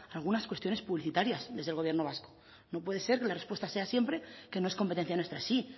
algunas cuestiones publicitarias desde el gobierno vasco no puede ser que la respuesta sea siempre que no es competencia nuestra sí